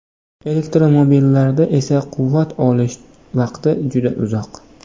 Elektromobillarda esa quvvat olish vaqti juda uzoq.